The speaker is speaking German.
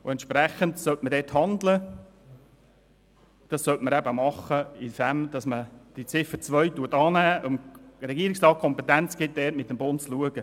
Entsprechend sollte man handeln, indem man Ziffer 2 annimmt und dem Regierungsrat die Kompetenz erteilt, diesbezüglich beim Bund vorzusprechen.